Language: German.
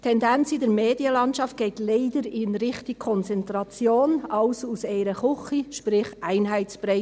Die Tendenz in der Medienlandschaft geht leider in Richtung Konzentration – alles aus einer Küche, sprich Einheitsbrei.